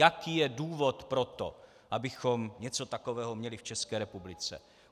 Jaký je důvod pro to, abychom něco takového měli v České republice?